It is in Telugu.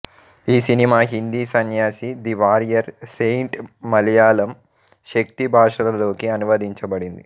ఈ cinema Hindi Sanyasi the warrior saint Malayalam Shakti భాషలలోకి అనువదించబడింది